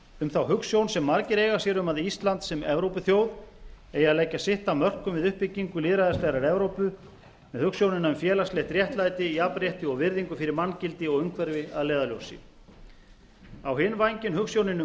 um þá hugsjón sem margir eiga sér um að ísland sem evrópuþjóð eigi að leggja sitt af rökum við uppbyggingu lýðræðislegrar evrópu með hugsjónina um félagslegt réttlæti jafnrétti og virðingu fyrir manngildi og umhverfi að leiðarljósi á hinn vænginn hugsjónin um